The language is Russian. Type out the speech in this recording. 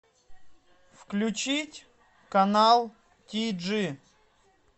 включить канал ти джи